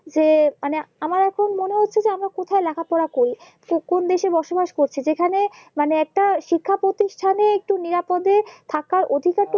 যে মানে আমার এখন মনে হচ্ছে আমরা কোথায় লেখাপড়া করি কোন দেশে বসবাস করছি যেখানে মানে একটা শিক্ষা প্রতিষ্ঠানে একটু নিরাপদে থাকে অধিকারটা